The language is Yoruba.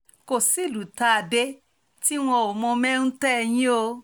kò sí ìlú tá a dé tí wọn ò mọ̀ mẹ́ńtẹ́ yẹn o